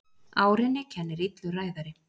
Árinni kennir illur ræðari.